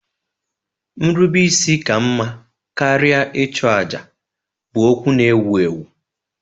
Nrubeisi ka mma karịa ịchụ àjà bụ okwu na-ewu ewu.